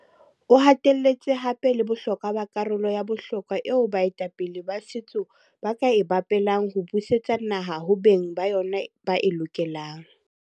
O hatelletse hape le bohlokwa ba karolo ya bohlokwa eo baetapele ba setso ba ka e bapalang ho busetsa naha ho beng ba yona ba e lokelang.